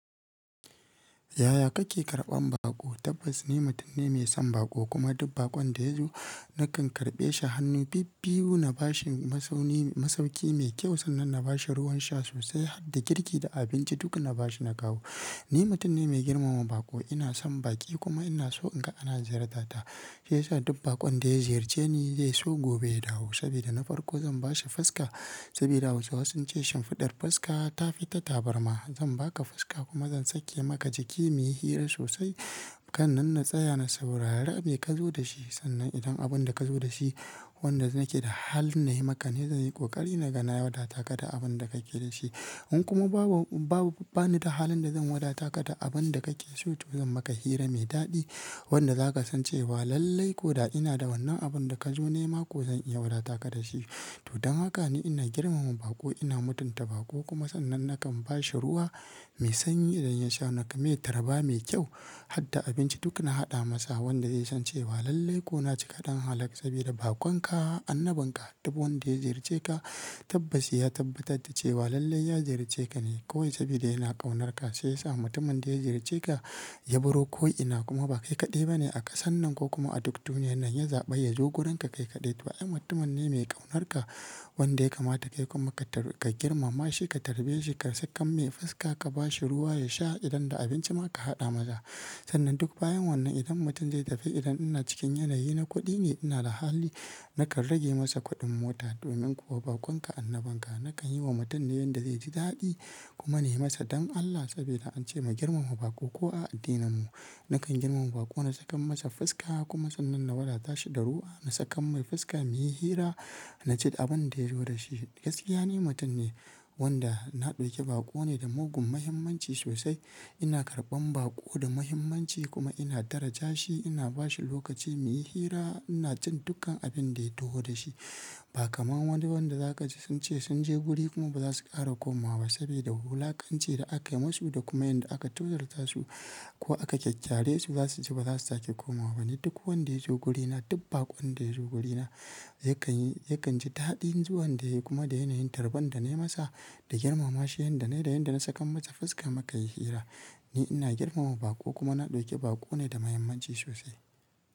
Yaya kake karɓan baƙo? Tabbas ni mutum ne mai son baƙo kuma duk baƙon da yazo nakan karɓe shi hannu bibbiwu na bashi mazauni. Masauki mai kyau sannan na bashi ruwan sha sosai har da girki da abinci duk na bashi na kawo. Ni mutum ne mai girmama baƙo, ina son baƙi kuma ina so in ga ana ziyartata. Shi yasa duk baƙon da ya ziyarce ni zai so gobe ya dawo saboda na farko zan bashi fuska saboda gausawa sunce shin fiɗar fuska ta fi ta tabarma. Zan baka fuska kuma zan sake maka jiki muyi hira sosai kan nan na tsaya na saurara mai ka zo da shi sannan idan abin da ka zo da shi wanda nake da halin na yi maka ni zan yi ƙoƙari na gaya wata taka da abin da ka ke da shi. In kuma babu bani da halin da zan wada taka da abin da kake so to zan maka hira mai daɗi wanda za ka san cewa lallai ko da ina da wannan abin da ka zo nema ko zan iya wada taka da shi. Tudun haka ne ina girmama baƙo, ina mutunta baƙo kuma sannan nakan bashi ruwa mai sanyi idan ya sha naka mai tarba mai kyau har da abinci duk na haɗa masa wanda zai san cewa lallai ko na cika ɗan hala saboda baƙon ka annabin ka duk wanda ya ziyarce ka tabbas ya tabbatar da cewa lallai ya ziyarce ka ne. Ko saboda yana ƙaunarka shi yasa mutumin da ya ziyarce ka ya baro ko'ina kuma ba kai kaɗai ba ne a kasan nan ko kuma a duk duniyar nan ya zaɓi ya zo wurin ka kai kaɗai. Wa'yan mutumin ne mai ƙaunarka wanda ya kamata kai kuma ka girmama shi, ka tarbe shi, ka saka mai fuska, ka bashi ruwa ya sha idan da abinci ma ka haɗa masa. Sannan duk bayan wannan idan mutum zai tafi idan ina cikin yanayi na kuɗi ne ina da hali nakan rage masa kuɗin mota domin kuwa baƙon ka annabin ka. Nakan yi wa mutane yin da zai ji daɗi kuma ne masa don Allah saboda an ce mu girmama baƙo ko a addinin mu. Nakan girmama baƙo, na saka masa fuska kuma sannan na wadata shi da ruwa, na saka mai fuska muyi hira, na ci abin da ya zo da shi. Gaskiya ni mutum ne wanda na ɗauki baƙo ne da mugun muhimmanci sosai. Ina karɓan baƙo da muhimmanci kuma ina daraja shi, ina bashi lokaci muyi hira, ina cin dukkan abin da ya toho da shi ba kamar wani wanda za ka ji sun ce sun je guri kuma ba za su ƙara komawa ba saboda wulaƙanci da aka yi musu da kuma inda aka tozarta su ko aka kyakyare su za su ji ba za su sake komawa ba. Ni duk wanda ya zo wurina, duk baƙon da ya zo wurina yakan ji daɗin zuwan da yayi kuma da yanayin tarban da na yi masa, da girmama shi, yin da na yi da yin da na saka masa fuska muka yi hira. Ni ina girmama baƙo kuma na ɗauki baƙo ne da muhimmanci sosai.